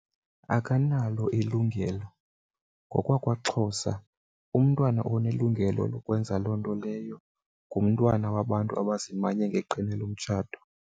Akanalo ilungelo. NgokwakwaXhosa umntwana onelungelo lokwenza loo nto leyo ngumntwana wabantu abazimanye ngeqhina lomtshato.